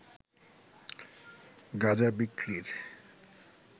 গাঁজা বিক্রির